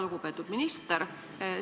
Lugupeetud minister!